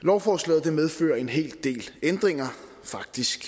lovforslaget medfører en hel del ændringer faktisk